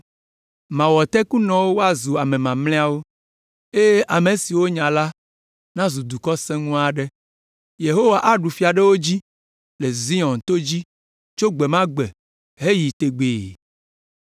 Mawɔ tekunɔwo woazu ame mamlɛawo, eye ame siwo wonya la nazu dukɔ sẽŋu aɖe. Yehowa aɖu fia ɖe wo dzi le Zion to dzi tso gbe ma gbe heyi tegbee.